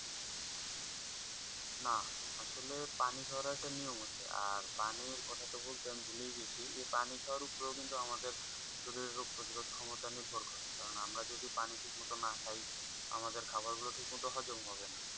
না আসলে পানি খাওয়ার একটা নিয়ম আছে। আর পানির কথা তো বলতে আমি ভুলেই গেছি। পানি খাওয়ার ওপরেও কিন্তু আমাদের শরীরের রোগ পতিরোধ ক্ষমতা নির্ভর করে। কারন আমরা যদি পানি ঠিক মতো না খাই, আমাদের খাওয়ার গুলো ঠিক মতো হজম হবে না।